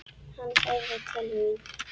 Hann heyrði til mín.